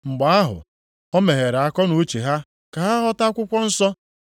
Mgbe ahụ, o meghere akọnuche ha ka ha ghọta akwụkwọ nsọ.